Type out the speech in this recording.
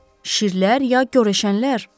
Şirlər ya görəşənlər?